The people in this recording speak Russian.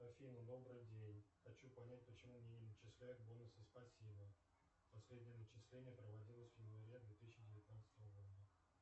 афина добрый день хочу понять почему мне не начисляют бонусы спасибо последнее начисление проводилось в январе две тысячи девятнадцатого года